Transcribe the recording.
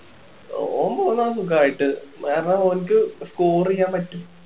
ഓൻ പോന്നോളും സുഖായിട്ട് കാരണം ഓന്ക്ക് score ചെയ്യാൻ പറ്റും